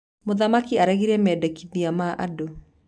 Mũthamaki aregire mendekithia ma andũ.